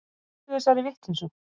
Hættu þessari vitleysu.